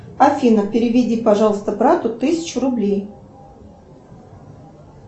афина переведи пожалуйста брату тысячу рублей